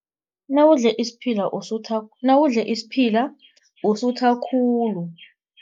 Nawudle isiphila usutha nawudle isiphila usutha khulu.